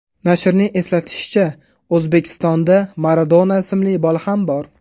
Nashrning eslatishicha, O‘zbekistonda Maradona ismli bola ham bor.